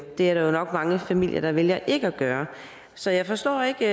det er der jo nok mange familier der vælger ikke at gøre så jeg forstår ikke